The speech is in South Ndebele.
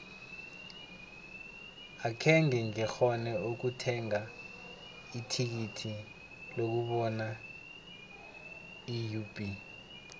akhenge ngikghone ukuthenga ithikithi lokubona iub